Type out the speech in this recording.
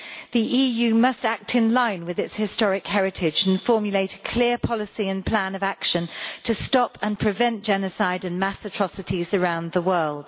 The EU must act in line with its historic heritage and formulate a clear policy and plan of action to stop and prevent genocide and mass atrocities around the world.